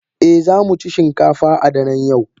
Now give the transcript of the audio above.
Eh, za mu ci shinkafa a daren yau.